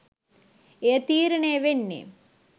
එය තීරණය වෙන්නේ,